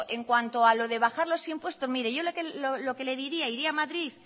en cuanto a lo de bajar los impuestos mire yo lo que le diría iría a madrid